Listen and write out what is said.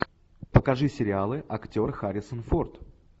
покажи сериалы актер харрисон форд